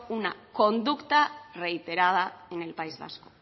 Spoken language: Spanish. una conducta reiterada en el país vasco